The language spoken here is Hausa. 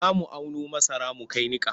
Za mu auno masara mu kai niƙa.